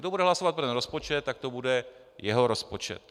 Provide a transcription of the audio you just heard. Kdo bude hlasovat pro ten rozpočet, tak to bude jeho rozpočet.